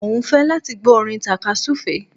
Mo ń fẹ́ láti gbọ́ orin tàka-súfeé